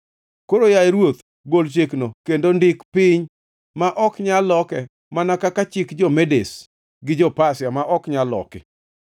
Koro, yaye ruoth, gol chikno, kendo ndike piny, ma ok nyal loke mana kaka chik jo-Medes gi jo-Pasia ma ok nyal loki.”